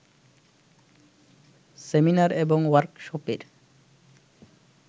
seminar এবং ওয়ার্কশপের